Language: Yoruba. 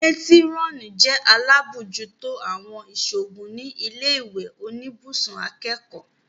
Métírọ́nì jẹ́ alábòójútó àwọn ìṣòògùn ní ilé ìwé oníbùsùn akẹ́kọ̀ọ́